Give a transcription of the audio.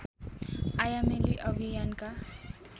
आयामेली अभियानका